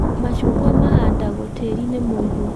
macungwa mahandagwo tĩĩri-inĩ mũigu.